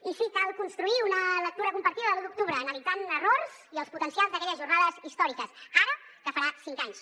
i sí cal construir una lectura compartida de l’u d’octubre analitzant errors i els potencials d’aquelles jornades històriques ara que en farà cinc anys